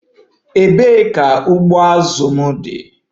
Ebee ka ụgbụ azụ m dị?